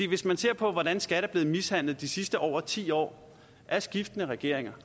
hvis man ser på hvordan skat er blevet mishandlet de sidste over ti år af skiftende regeringer